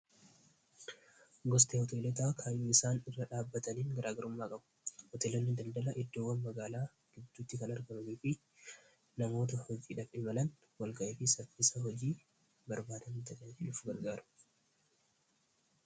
Gosti hoteelotaa kamiyyuu isaan irra dhaabbataniin garaagarummaa qabu hoteelolni daldala iddoowwan magaalaa gidduutti kan argamamifi namoota hojiidham imalan walga'ii fii saffisa hojii barbaadan ta'uuf nu gargaaru.